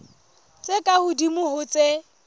tse ka hodimo ho tse